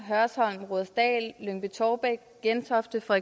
hørsholm rudersdal lyngby tårbæk gentofte og